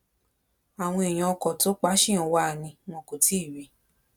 àwọn èèyàn ọkọ tó pa ṣì ń wá a ni wọn kò tí ì rí i